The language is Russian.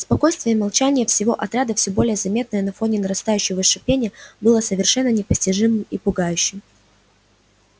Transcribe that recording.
спокойствие и молчание всего отряда все более заметное на фоне нарастающего шипения было совершенно непостижимым и пугающим